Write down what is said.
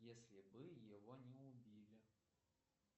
если бы его не убили